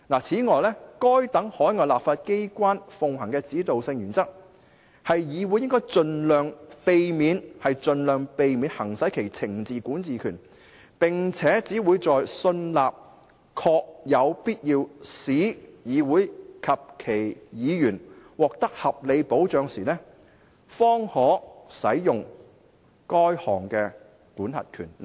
此外，該等海外立法機關奉行的指導性原則，是議院應盡量避免行使其懲治管治權，並且只會在信納確有必要為使議院及其議員獲得合理的保障時，該項管轄權方可使用。